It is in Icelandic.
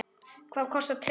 Hvað kostar treyjan?